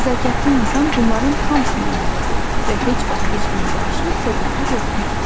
Nəzakətli insan bunların hamısına əməl edir və heç vaxt heç kimə qarşı kobudluq etmir.